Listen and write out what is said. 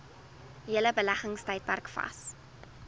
hele beleggingstydperk vas